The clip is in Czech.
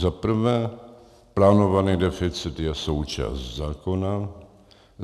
Za prvé, plánovaný deficit je součást zákona.